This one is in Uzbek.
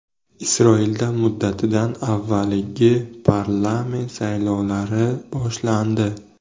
Isroilda muddatidan avvalgi parlament saylovlari boshlandi.